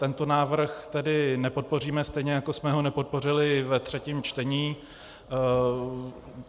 Tento návrh tedy nepodpoříme, stejně jako jsme ho nepodpořili ve třetím čtení.